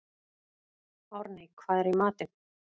Árney, hvað er í matinn?